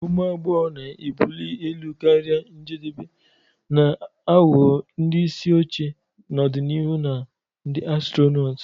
Ụmụ agbọghọ ga-ebuli elu karịa njedebe, na-aghọ ndị isi oche n'ọdịnihu na ndị astronotu.